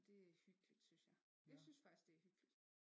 Det er hyggeligt synes jeg jeg synes faktisk det er hyggeligt